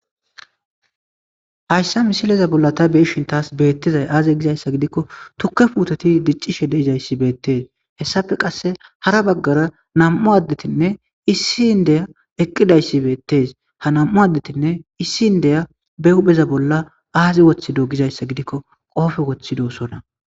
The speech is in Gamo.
hayssa misileza bolla ta beishintas beettizay aaze gizayssa gidikko tukke puutoti diccishe deizayssi beettes hessafe qasse hara baggara nam7u addetinne issi n deya eqqidayssi beettes ha nam7u addetinne issi n deya be hupheza bolla aazi woththido gizayssa gidikko qoofe woththidoosona